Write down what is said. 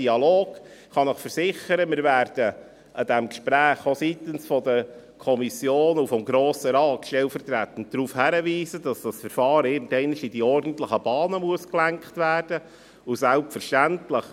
Ich kann Ihnen versichern, dass wir an diesem Gespräch auch seitens der Kommissionen und stellvertretend des Grossen Rates darauf hinweisen, dass das Verfahren irgendwann in die ordentlichen Bahnen gelenkt werden muss.